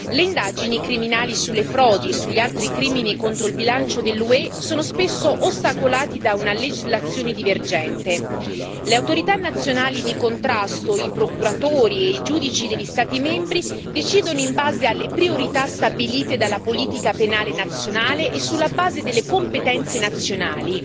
Le indagini penali sulle frodi e sugli altri crimini contro il bilancio dell'UE sono spesso ostacolati da una legislazione divergente le autorità nazionali di contrasto, i procuratori e i giudici degli Stati membri decidono in base alle priorità stabilite dalla politica penale nazionale e sulla base delle competenze nazionali.